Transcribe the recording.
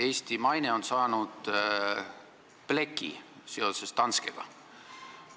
Eesti maine on saanud pleki seoses Danskega.